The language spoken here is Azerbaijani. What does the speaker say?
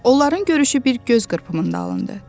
Onların görüşü bir göz qırpımında alındı.